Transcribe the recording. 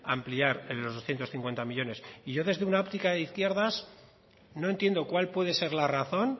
ampliar en los doscientos cincuenta millónes y yo desde una óptica de izquierdas no entiendo cuál puede ser la razón